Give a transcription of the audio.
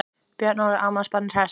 Björn Óli, afmælisbarnið hresst?